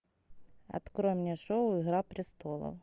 открой мне шоу игра престолов